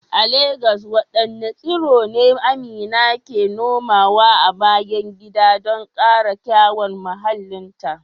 A Legas wadanne tsiro ne Amina ke nomawa a bayan gida don kara kyawun muhallinta?